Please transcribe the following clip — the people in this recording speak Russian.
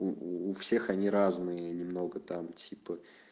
у у всех они разные немного там типа